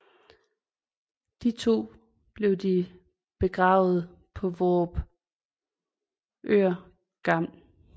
De to blev de begravet på Vorupør Gl